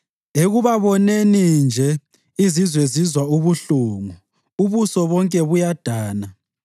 Ekubaboneni nje, izizwe zizwa ubuhlungu; ubuso bonke buyadana.